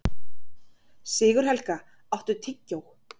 Sigurhelga, áttu tyggjó?